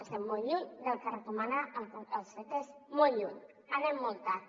estem molt lluny del que recomana el ctesc molt lluny anem molt tard